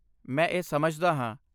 ਮੈਂ ਇਹ ਸਮਝਦਾ ਹਾਂ।